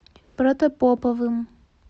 протопоповым